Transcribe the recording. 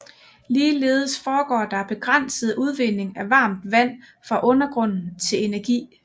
Ligeledes foregår der begrænset udvinding af varmt vand fra undergrunden til energi